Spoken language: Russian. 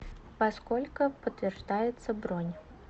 во сколько подтверждается бронь